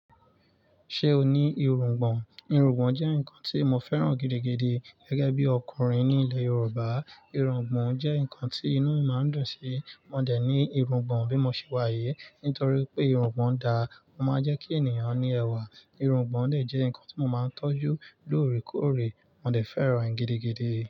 Ṣé o ní irungbọ̀n? Irungbọ̀n jẹ́ nǹkan tí mo fẹ́ràn gidigidi gẹ́gẹ́ bí ọkùnrin ní ilẹ̀ Yorùbá. Irungbọ̀n jẹ́ nǹkan tí inú máa ń dùn sí. Mo dẹ̀ ní irungbọ̀n bí mo ṣe wà yìí. Nítorí pé irungbọ̀n da, ó máa ń jẹ́ kí ènìyàn ní ẹwà. Irungbọ̀n dè jẹ́ nǹkan tí mo máa ń tọ́jú lóòrèkóòrè. Mo dẹ̀ fẹ́ràn rẹ̀ gidigidi.